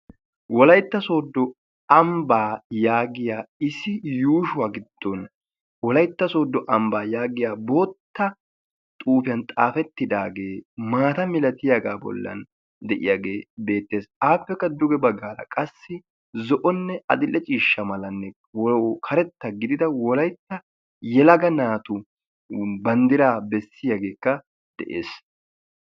wolaitta soodo ambbaa yaagiya issi yuushuwaa giddon wolaitta soodo ambbaa yaagiya bootta xuufiyan xaafettidaagee maata milatiyaagaa bollan de7iyaagee beettees. aappekka duge baggaala qassi zo7onne adil'e ciishsha malanne karetta gidida wolaitta yelaga naatun banddira bessiyaageekka de7ees.